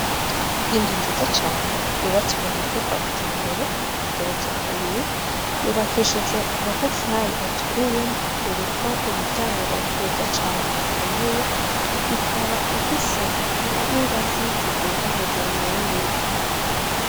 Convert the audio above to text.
Inzu nziza cane yubatswe mu buryo bwa kijambere, igeretse kabiri, yubakishije amatafari aturiye .Iriko imiryango myiza cane ikomeye , ikaba ifise n'ingazi ziduga hejuru mu yindi nzu.